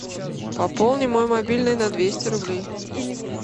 пополни мой мобильный на двести рублей